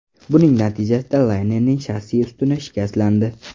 Buning natijasida laynerning shassi ustuni shikastlandi.